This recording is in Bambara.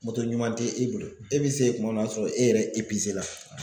ɲuman tɛ e bolo e bɛ se kuma min na o y'a sɔrɔ e yɛrɛ la.